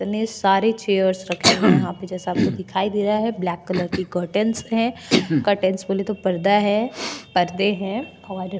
इतने सारे चेयर्स रखे हैं हुए हैं यहां पे जैसा आपको दिखाई दे रहा है ब्लैक कलर की कर्टन्स है कर्टन्स बोले तो पर्दा है पर्दे हैं और --